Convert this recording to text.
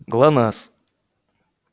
глонассс